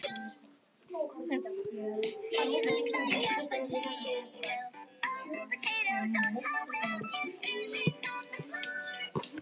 Þetta er hárrétt hjá Helga, segir hún og vindur borðtusku.